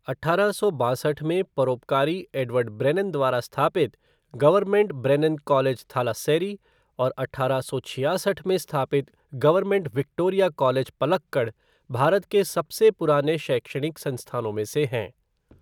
अठारह सौ बासठ में परोपकारी एडवर्ड ब्रेनन द्वारा स्थापित गवर्नमेंट ब्रेनन कॉलेज, थालास्सेरी और अठारह सौ छियासठ में स्थापित government Victoria college, Palakkad, Bharat के सबसे पुराने शैक्षणिक संस्थानों में से हैं।